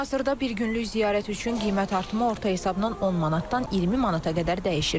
Hazırda bir günlük ziyarət üçün qiymət artımı orta hesabla 10 manatdan 20 manata qədər dəyişir.